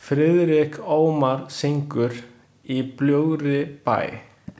Friðrik Ómar syngur „Í bljúgri bæn“.